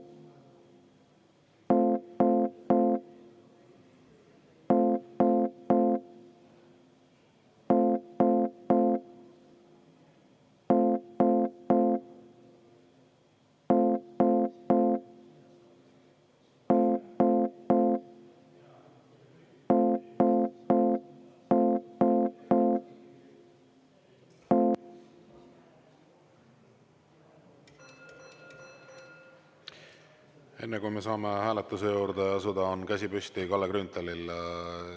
Enne kui me saame hääletuse juurde asuda, on käsi püsti Kalle Grünthalil.